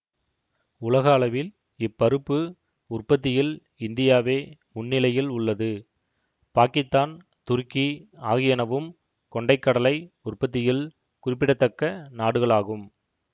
உலக அளவில் இப்பருப்பு உற்பத்தியில் இந்தியாவே முன்னிலையில் உள்ளது பாக்கித்தான் துருக்கி ஆகியனவும் கொண்டை கடலை உற்பத்தியில் குறிப்பிடத்தக்க நாடுகளாகும்